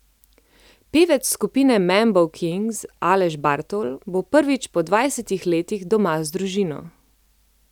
Pevec skupine Mambo Kings Aleš Bartol bo prvič po dvajsetih letih doma z družino.